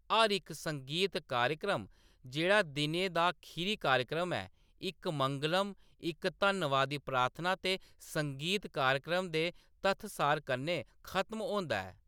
हर इक संगीत कार्यक्रम जेह्‌‌ड़ा दिनै दा खीरी कार्यक्रम ऐ, इक मंगलम, इक धन्नबादी प्रार्थना ते संगीत कार्यक्रम दे तत्थ-सार कन्नै खत्म होंदा ऐ।